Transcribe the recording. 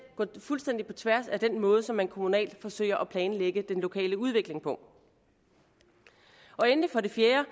gå fuldstændig på tværs af den måde som man kommunalt forsøger at planlægge den lokale udvikling på endelig for det fjerde